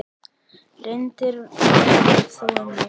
Reyndin var þó önnur.